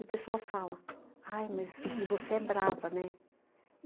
E o pessoal fala, aí, mas e você é brava, né?